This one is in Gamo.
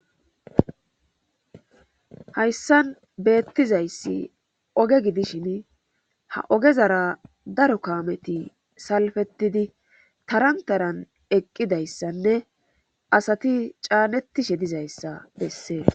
Hayssan beettizayssi oge gidishin ha ogezara daro kaameti salfetidi tarantaran eqqidayssanne asati caanetishe dizayssa bessee